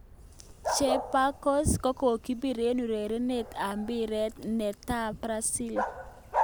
Chapecoense kokokipir eng urerenet ap pira ne ta Brazil.